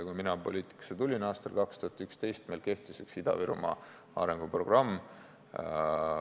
Kui mina aastal 2011 poliitikasse tulin, kehtis üks Ida-Virumaa arenguprogramm.